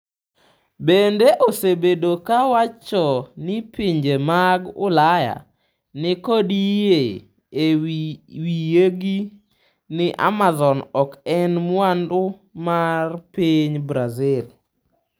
Bende, osebedo ka wacho ni pinje mag Ulaya “ni kod yie e wiyegi” ni Amazon ok en mwandu mar piny Brazil.